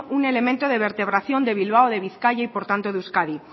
un elemento de vertebración de bilbao de bizkaia y por tanto de euskadi